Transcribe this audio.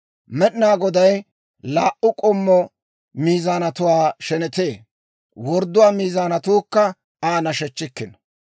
Med'inaa Goday laa"u k'ommo miizaanatuwaa shenetee; wordduwaa miizaanatuukka Aa nashechchikkino.